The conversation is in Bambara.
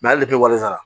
ale wale sara